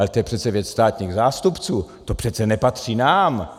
Ale to je přece věc státních zástupců, to přece nepatří nám.